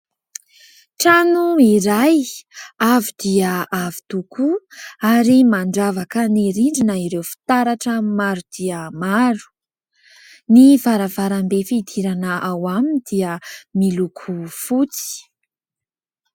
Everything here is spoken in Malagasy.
Trano iray, avo dia avo dia avo tokoa ary mandravaka ny rindrina ireo fitaratra maro dia maro. Ny varavarambe fidirana ao aminy dia miloko fotsy.